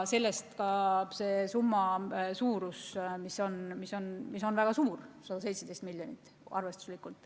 Sellest ka selline summa, see on väga suur, arvestuslikult 117 miljonit.